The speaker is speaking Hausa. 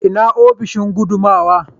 ina ofishin gudanarwa?